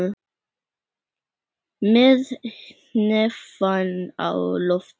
Með hnefann á lofti.